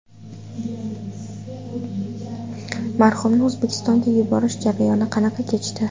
Marhumni O‘zbekistonga yuborish jarayoni qanaqa kechdi?